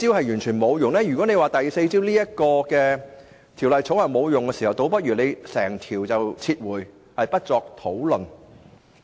如果認為第四招，即《條例草案》完全沒有作用，那倒不如整項撤回，不作討論。